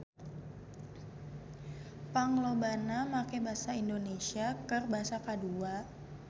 Panglobana make basa Indonesia keur basa kadua